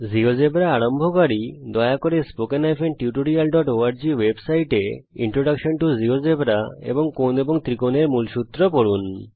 GeoGebra আরম্ভকারী দয়া করে spoken tutorialঅর্গ ওয়েবসাইটে ইন্ট্রোডাকশন টু জীয়োজেব্রা এবং কোণ এবং ত্রিকোণ এর মূলসূত্র পড়ুন